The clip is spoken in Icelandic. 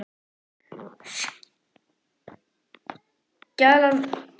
Skjalið var lesið upp yfir Íslendingunum.